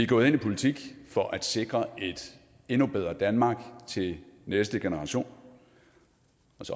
gået ind i politik for at sikre et endnu bedre danmark til næste generation